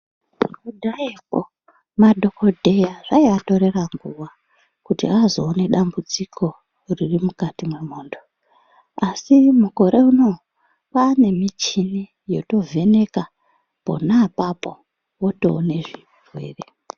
Kudhayako, madhokodheya zvayiyatorere nguwa kuti azoone dambudziko riri mukati mwemuntu, asi mukore unowu, kwane michini yotovheneka ponaapapo wotoone zvirwere.